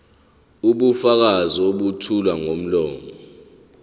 ubufakazi obethulwa ngomlomo